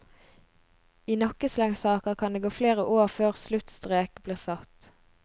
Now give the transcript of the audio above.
I nakkeslengsaker kan det gå flere år før sluttstrek blir satt.